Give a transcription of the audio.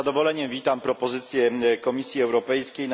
Z zadowoleniem witam propozycje Komisji Europejskiej.